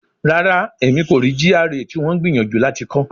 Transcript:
Rara, Emi ko rii GRA ti wọn n gbiyanju lati kọ